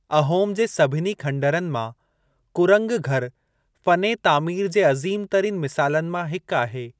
अहोम जे सभिनी खनडरनि मां कुरंग घरु फ़ने तामीर जे अज़ीमु तरीन मिसालनि मां हिकु आहे।